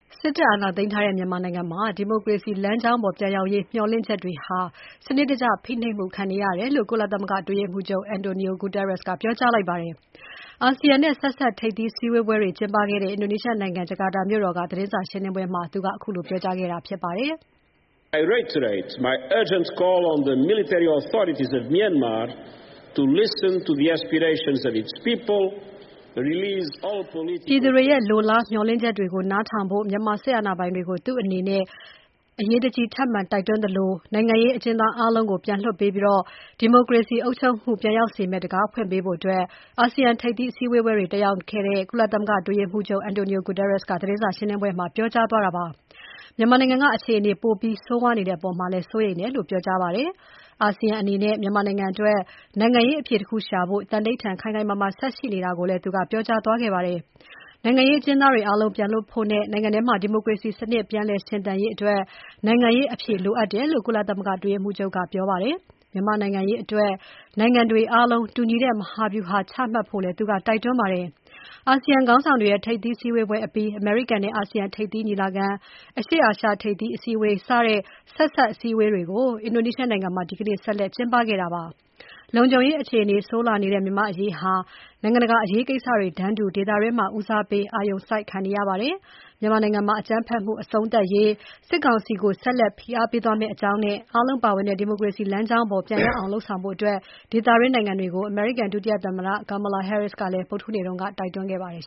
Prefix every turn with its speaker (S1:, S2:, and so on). S1: စစ်တပ်အာဏာသိမ်းထားတဲ့ မြန်မာနိုင်ငံမှာ ဒီမိုကရေစီ လမ်းကြောင်းပေါ်ပြန်ရောက်ရေး မျှော်လင့်ချက်တွေဟာ စနစ်တကျဖိခံနေရတယ်လို့ ကုလသမဂ္ဂ အတွင်းရေးမှူးချုပ် Antonio Guterres က ပြောကြားလိုက်ပါတယ်။ အာဆီယံနဲ့ ဆက်စပ်ထိပ်သီး ဆွေးနွေးပွဲတွေကျင်းပနေတဲ့ အင်ဒိုနီးရှားနိုင်ငံ ဂျာကာတာမြို့တော်က သတင်းစာရှင်းပွဲမှာ ဒီနေ့ပြောကြားခဲ့တာဖြစ်ပါတယ်
S2: ။ ပြည်သူ
S1: တွေရဲ့ လိုလား မျှော်လင့်ချက်တွေကို နားထောင်ဖို့ မြန်မာစစ်အာဏာပိုင်တွေကို သူ့အနေနဲ့ ထပ်မံ တိုက်တွန်းသလို၊ နိုင်ငံရေး အကျဉ်သားအားလုံးကို ပြန်လွှတ်ပေးပြီး ဒီမိုကရေစီ အုပ်ချုပ်မှုကို ပြန်ရောက်စေမယ့် တံခါးဖွင့်ပေးဖို့ အာဆီယံထိပ်သီးအစည်းအဝေးတွေတက်ရောက်နေတဲ့ ကုလသမဂ္ဂအတွင်းရေးမှူးချုပ် Antonio Guterres က သတင်းစာရှင်းပွဲမှာ ပြောကြားသွားတာဖြစ်ပါတယ်။ မြန်မာနိုင်ငံက အခြေအနေ ပိုပြီးဆိုးဝါးနေတဲ့အပေါ်မှာလည်း စိုးရိမ်တယ်လို့ ပြောကြားသွားခဲ့ပါတယ်။ အာဆီယံအနေနဲ့ မြန်မာနိုင်ငံအတွက် နိုင်ငံရေးအဖြေတခုရှာဖို့ သံဓိဌာန်ခိုင်ခိုင်မာမာ ဆက်ရှိနေတာကိုလည်း သူကပြောကြားသွားပါတယ်။ နိုင်ငံရေးအကျဉ်းသား အာလုံးပြန်လွှတ်ဖို့နဲ့ နိုင်ငံထဲမှာ ဒီမိုကရေစီ စနစ်ပြန် ရှင်သန်နိုင်ရေးအတွက် နိုင်ငံရေးအဖြေလိုအပ်တယ်လို့ ကုလသမဂ္ဂအတွင်းရေးမှူးချုပ်က ပြောကြားသွားခဲ့ပါတယ်။ မြန်မာနိုင်ငံအရေး နိုင်ငံတွေအားလုံး တူညီတဲ့ မဟာဗျုဟာချမှတ်ဖို့လည်း သူက တိုက်တွန်းခဲ့ပါတယ်။ အာဆီယံခေါင်းဆောင်တွေရဲ့ ထိပ်သီးဆွေးနွေးပွဲအပြီး၊ အမေရိကန်နဲ့ အာဆီယံ ထိပ်သီးညီလာခံ၊ အရှေ့အာရှ ထိပ်သီးအစည်းအဝေးစတဲ့ ဆက်စပ်အစည်းအဝေးတွေ အင်ဒိုနီးရှားနိုင်ငံမှာ ဆက်လက်ကျင်းပနေတာပါ။ လုံခြုံရေးအခြေအနေ ဆိုးလာနေတဲ့ မြန်မာ့အရေးဟာ နိုင်ငံတကာအရေးကိစ္စတွေတန်းတူ ဒေသတွင်းမှာ ဦးစားပေးအာရုံစိုက်ခံနေရပါတယ်။ မြန်မာနိုင်ငံမှာ အကြမ်းဖက်မှု အဆုံးသတ်ရေး စစ်ကောင်စီကို ဆက်လက်ဖိအားပေးသွားမယ့်အကြောင်းနဲ့ အားလုံးပါဝင်တဲ့ ဒီမိုကရေစီ လမ်းကြောင်းပေါ် ပြန်ရောက်အောင်လုပ်ဆောင်ဖို့ ဒေသတွင်းနိုင်ငံတွေကို အမေရိကန် ဒုသမ္မတ Kamala Harris က ဗုဒ္ဓဟူးနေ့က တိုက်တွန်းခဲ့ပါတယ်